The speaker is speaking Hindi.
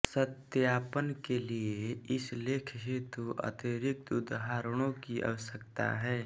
सत्यापन के लिए इस लेख हेतु अतिरिक्त उद्धरणों की आवश्यकता है